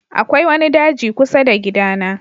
Akwai wani daji kusa da gidana.